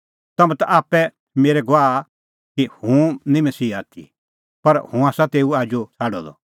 तम्हैं ता आप्पै आसा मेरै गवाह कि हुंह निं मसीहा आथी पर हुंह आसा तेऊ आजू छ़ाडअ द